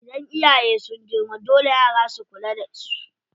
Idan iyaye sun girma, dole yara su kula da su.